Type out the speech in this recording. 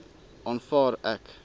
aanvaar ek